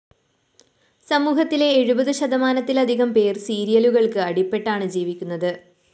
സമൂഹത്തിലെ എഴുപതു ശതമാനത്തിലധികം പേര്‍ സീരിയലുകള്‍ക്ക് അടിപ്പെട്ടാണ് ജീവിക്കുന്നത്